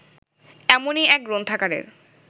এমনই এক গ্রন্থাগারের